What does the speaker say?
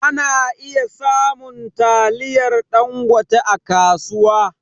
Ana iya samun taliyar ɗangote a kasuwa